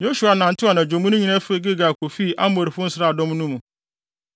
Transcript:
Yosua nantew anadwo mu no nyinaa fii Gilgal kofii Amorifo nsraadɔm no mu.